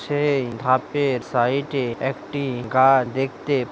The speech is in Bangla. সেই ধাপের সাইট এ একটি গাছ দেখতে--